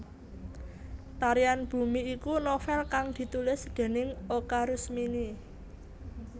Tarian Bumi iku novèl kang ditulis déning Oka Rusmini